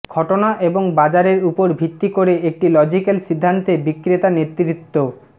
ঘটনা এবং বাজারের উপর ভিত্তি করে একটি লজিক্যাল সিদ্ধান্তে বিক্রেতা নেতৃত্ব